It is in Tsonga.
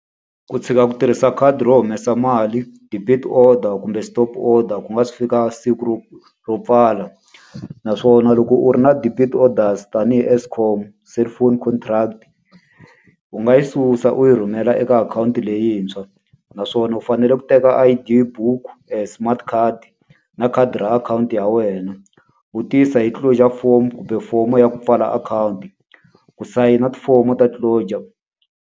Ku tshika ku tirhisa khadi ro humesa mali, debit order kumbe stop order, ku nga se fika siku ro ro pfala. Naswona loko u ri na debit orders tanihi Eskom, Cellphone contract, u nga yi susa u yi rhumela eka akhawunti leyintshwa. Naswona u fanele ku teka I_D book smart card na khadi ra akhawunti ya wena, u tiyisa hi closure form kumbe fomo ya ku pfala akhawunti. Ku sayina tifomo ta closure.